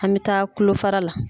An mɛ taa kulofara la.